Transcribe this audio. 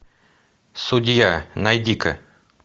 судья найди ка